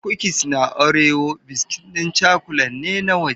Kukis na Orewo biskit ɗin cakulan ne na waje.